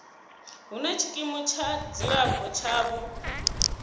hune tshikimu tsha dzilafho tshavho